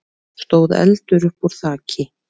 stóð eldur uppúr þaki.